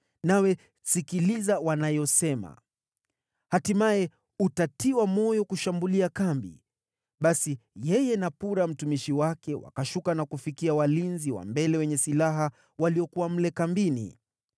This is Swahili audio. nawe sikiliza wanayosema. Hatimaye, utatiwa moyo kushambulia kambi.” Basi yeye na Pura mtumishi wake wakashuka na kufikia walinzi wa mbele wenye silaha waliokuwa mle kambini.